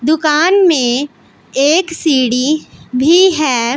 दुकान में एक सीढ़ी भी है।